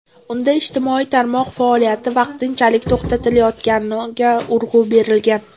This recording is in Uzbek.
Unda ijtimoiy tarmoq faoliyati vaqtinchalik to‘xtatilayotganiga urg‘u berilgan.